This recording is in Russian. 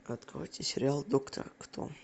откройте сериал доктор кто